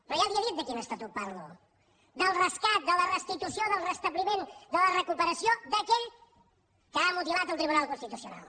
però ja li he dit de quin estatut parlo del rescat de la restitució del restabliment de la recuperació d’aquell que ha mutilat el tribunal constitucional